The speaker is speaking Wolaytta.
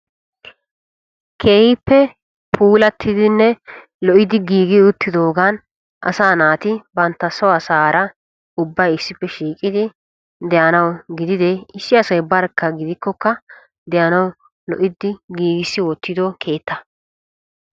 Keehippe puulatiddinne lo'i uttiddoogani asaa naati bantta so asaara ubbay issippe shiiqiddi de'nawu gidire asay barkka de'anawu giigissi wottiddo keetta.